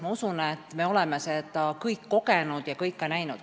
Ma usun, et me kõik oleme seda kogenud ja ka näinud.